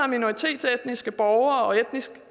minoritetsetniske borgere og etnisk